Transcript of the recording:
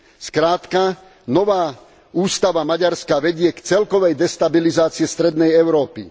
Skrátka, nová ústava Maďarska vedie k celkovej destabilizácii strednej Európy.